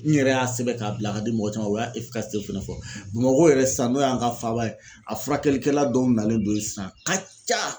N yɛrɛ y'a sɛbɛn k'a bila ka di mɔgɔ caman ma o y'a fɛnɛ fɔ, Bamakɔ yɛrɛ sIsan n'o y'an ka faaba ye a furakɛlikɛla dɔw nalen don yen sisan a ka ca .